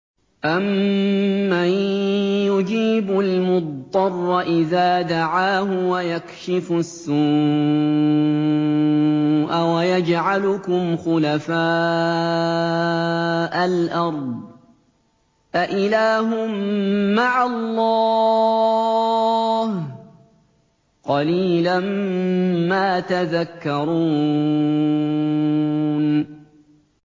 أَمَّن يُجِيبُ الْمُضْطَرَّ إِذَا دَعَاهُ وَيَكْشِفُ السُّوءَ وَيَجْعَلُكُمْ خُلَفَاءَ الْأَرْضِ ۗ أَإِلَٰهٌ مَّعَ اللَّهِ ۚ قَلِيلًا مَّا تَذَكَّرُونَ